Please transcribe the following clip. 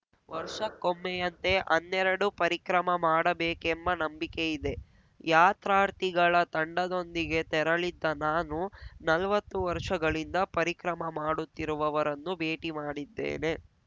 ವರ್ಷಕ್ಕೊಮ್ಮೆಯಂತೆ ಅನ್ನೆರಡು ಪರಿಕ್ರಮ ಮಾಡಬೇಕೆಂಬ ನಂಬಿಕೆ ಇದೆ ಯಾತ್ರಾರ್ಥಿಗಳ ತಂಡದೊಂದಿಗೆ ತೆರಳಿದ್ದ ನಾನು ನಲ್ವತ್ತು ವರ್ಷಗಳಿಂದ ಪರಿಕ್ರಮ ಮಾಡುತ್ತಿರುವವರನ್ನು ಭೇಟಿ ಮಾಡಿದ್ದೇನೆ